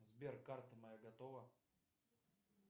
сбер карта моя готова